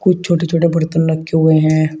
कुछ छोटे छोटे बर्तन रखे हुए हैं।